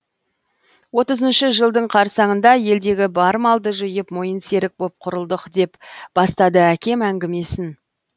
отызыншы жылдың қарсаңында елдегі бар малды жиып мойынсерік боп құрылдық деп бастады әкем әңгімесін